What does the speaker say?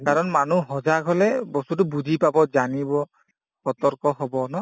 কাৰণ মানুহ হলে বস্তুতো বুজি পাব জানিব সতৰ্ক হব ন